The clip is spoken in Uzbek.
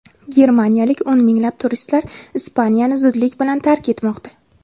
Germaniyalik o‘n minglab turistlar Ispaniyani zudlik bilan tark etmoqda.